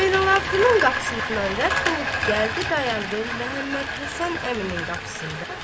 Zeynalabdin qapısından rədd olub gəldi dayandı Məhəmməd Həsən əminin qapısında.